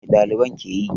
Mai ɗaliban ke yi?